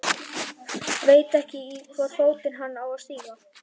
Veit ekki í hvorn fótinn hann á að stíga.